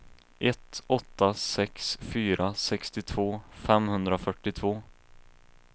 ett åtta sex fyra sextiotvå femhundrafyrtiotvå